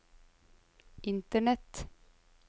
internett